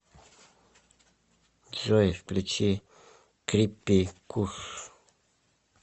джой включи криппи куш